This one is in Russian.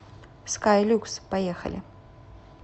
скай люкс поехали